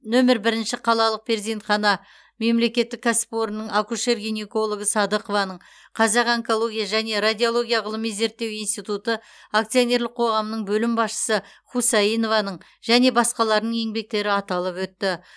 нөмір бірінші қалалық перзентхана мемлекеттік кәсіпорынның акушер гинекологы садықованың қазақ онкология және радиология ғылыми зерттеу институты акционерлік қоғамның бөлім басшысы хусаинованың және басқаларының еңбектері аталып өтті